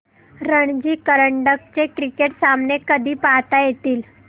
रणजी करंडक चे क्रिकेट सामने कधी पाहता येतील